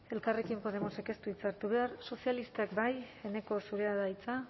elkarrekin podemosek ez du hitza hartu behar sozialistak bai eneko zurea da hitza